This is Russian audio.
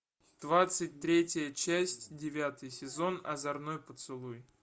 двадцать третья часть девятый сезон озорной поцелуй